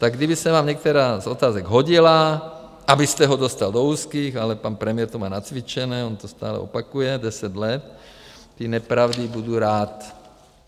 Tak kdyby se vám některá z otázek hodila, abyste ho dostal do úzkých - ale pan premiér to má nacvičené, on to stále opakuje deset let, ty nepravdy - budu rád.